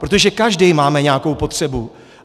Protože každý máme nějakou potřebu.